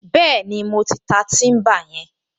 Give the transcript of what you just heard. Bẹ́ẹ̀ni, mo ti ta tíḿbà yẹn